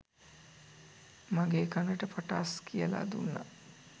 මගෙ කනට පටාස් කියලා දුන්නා.